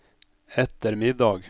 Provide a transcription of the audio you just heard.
ettermiddag